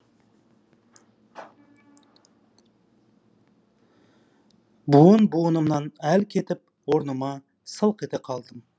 буын буынымнан әл кетіп орныма сылқ ете қалдым